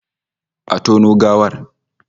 Exhume the corpse!